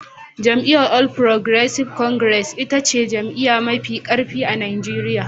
Jam'iyyar All Progressives Congress ita ce jam'iyya mafi karfi a Najeriya.